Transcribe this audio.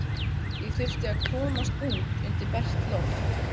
Ég þurfti að komast út undir bert loft.